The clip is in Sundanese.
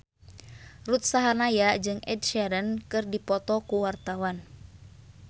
Ruth Sahanaya jeung Ed Sheeran keur dipoto ku wartawan